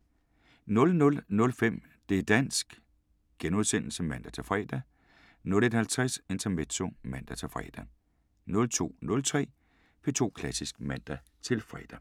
00:05: Det´ dansk *(man-fre) 01:50: Intermezzo (man-fre) 02:03: P2 Klassisk (man-fre)